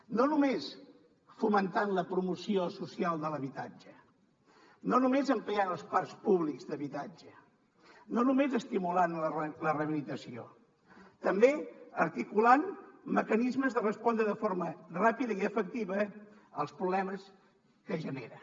no només fomentant la promoció social de l’habitatge no només ampliant els parcs públics d’habitatge no només estimulant la rehabilitació també articulant mecanismes de respondre de forma ràpida i efectiva als problemes que genera